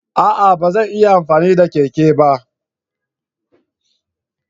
A'a! Ba zan iya amfani da keke ba.